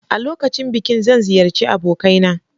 A lokacin bikin zan ziyarci abokaina.